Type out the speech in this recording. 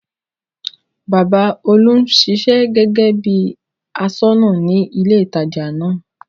Bàbá Olú ń ṣiṣẹ́ gẹ́gẹ́ bí bí i aṣọ́nà ní ilé-ìtajà náà.